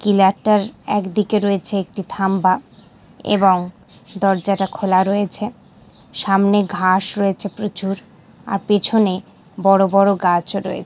কিলারটার একদিকে রয়েছে একটি থাম্বা এবং দরজাটা খোলা রয়েছে সামনে ঘাস রয়েছে প্রচুর আর পেছনে বড় বড় গাছও রয়ে --